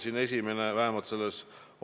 Te küsisite, kuidas ma seda asja selgitan.